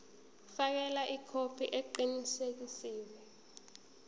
fakela ikhophi eqinisekisiwe